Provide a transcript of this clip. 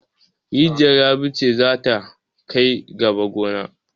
Rijiyar Rabi ce za ta kai gaba goma.